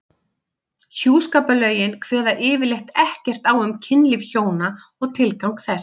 Hjúskaparlögin kveða yfirleitt ekkert á um kynlíf hjóna og tilgang þess.